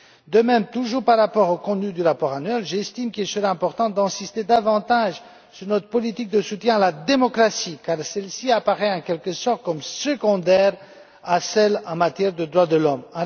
De même, toujours à propos du contenu du rapport annuel, j'estime qu'il serait important d'insister davantage sur notre politique de soutien à la démocratie, car celle ci apparaît en quelque sorte comme secondaire à celle en matière de droits de l'homme.